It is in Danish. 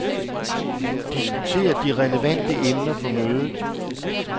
Diskuter de relevante emner på mødet.